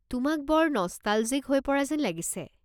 তোমাক বৰ নষ্টালজিক হৈ পৰা যেন লাগিছে।